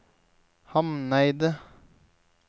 Hamneidet